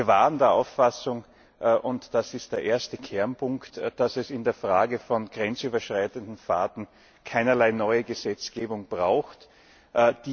Wir waren der Auffassung und das ist der erste Kernpunkt dass es in der Frage von grenzüberschreitenden Fahrten keinerlei neuer Gesetzgebung bedarf.